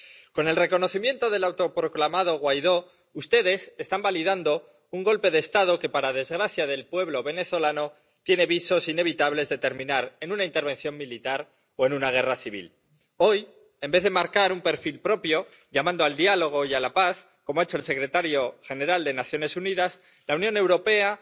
Con el reconocimiento del autoproclamado Guaidó, ustedes están validando un golpe de Estado que, para desgracia del pueblo venezolano, tiene visos inevitables de terminar en una intervención militar o en una guerra civil. Hoy, en vez de marcar un perfil propio, llamando al diálogo y a la paz, como ha hecho el secretario general de las Naciones Unidas, la Unión Europea